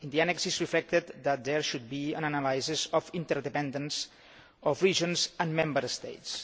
The annex reflects that there should be an analysis of the inter dependence of regions and Member States.